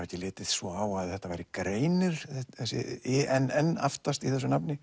ekki litið svo á að þetta væri greinir þessi inn aftast í þessu nafni